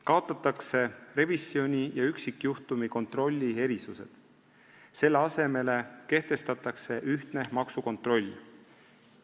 Kaotatakse revisjoni ja üksikjuhtumi kontrolli erisused, selle asemel kehtestatakse ühtne maksukontroll.